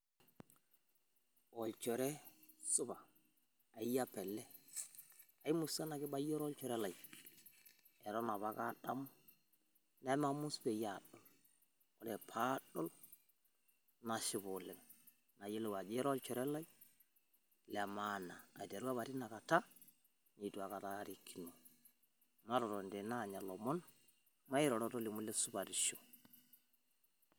Olchore supa, eyie apa ele. kimusana kibayioro olchore lai eton apake aadamu nemamus peyie aadol. Ore pee aadol nashipa oleng. Nayiolou ajo ira olchore lai le maana. Aiteru apa tinakata nitu aikata aarikino, matotoni tene aanya lomon mairoro tolimu ile supatisho.